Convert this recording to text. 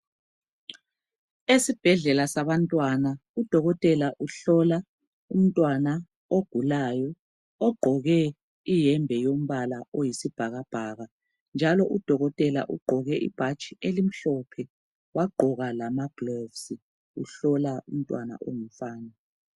Esibhedlela sabantwana udokotela uhlola umntwana ogulayo ogqoke iyembe yombala oyisibhakabhaka njalo udokotela ugqoke ibhatshi elimhlophe, wagqoka lamagilovisi uhlola umntwana ongumfana.